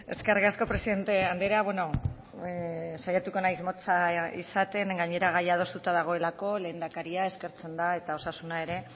eskerrik asko presidente andrea saiatuko naiz motza izaten gainera gaia adostuta dagoelako lehendakaria eskertzen da eta osasuna ere